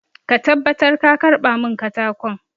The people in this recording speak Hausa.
Make sure you collect the wood for me!